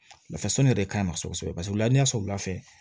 Nafa sɔnni yɛrɛ de ka ɲi nɔ kosɛbɛ paseke u la sɔrɔla fɛ